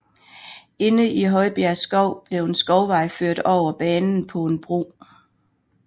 Inde i Højbjerg Skov blev en skovvej ført over banen på en bro